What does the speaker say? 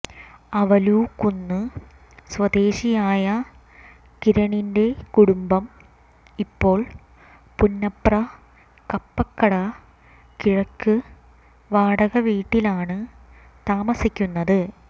അവലൂക്കുന്ന് സ്വദേശിയായ കിരണിന്റെ കുടുംബം ഇപ്പോൾ പുന്നപ്ര കപ്പക്കട കിഴക്ക് വാടകവീട്ടിലാണ് താമസിക്കുന്നത്